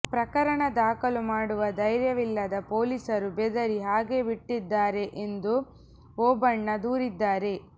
ಪ್ರಕರಣ ದಾಖಲು ಮಾಡುವ ಧೈರ್ಯವಿಲ್ಲದ ಪೊಲೀಸರು ಬೆದರಿ ಹಾಗೇ ಬಿಟ್ಟಿದ್ದಾರೆ ಎಂದು ಓಬಣ್ಣ ದೂರಿದ್ದಾರೆ